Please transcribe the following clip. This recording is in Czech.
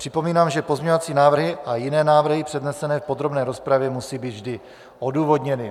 Připomínám, že pozměňovací návrhy a jiné návrhy přednesené v podrobné rozpravě musí být vždy odůvodněny.